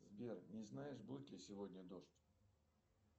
сбер не знаешь будет ли сегодня дождь